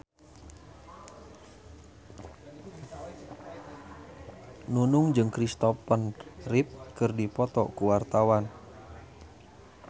Nunung jeung Christopher Reeve keur dipoto ku wartawan